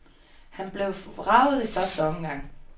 Han blev vraget i første omgang.